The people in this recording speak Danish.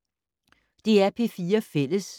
DR P4 Fælles